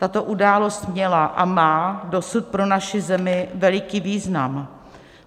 Tato událost měla a má dosud pro naši zemi veliký význam.